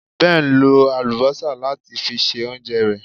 Ben lo àlùbọ́sà láti fi se oúnjẹ rẹ̀